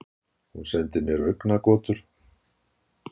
Hún sendir mér augnagotur.